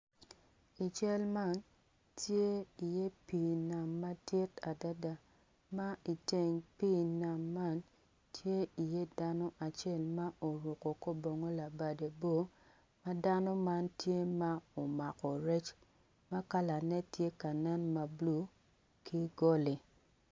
I cal man tye iye pii nam madit adada ma i teng pii nam man tye iye dano acel ma oruko kor bongo labade bor ma en omako rec ki goli.